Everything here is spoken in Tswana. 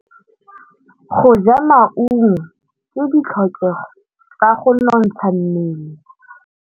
Go ja maungo ke ditlhokegô tsa go nontsha mmele.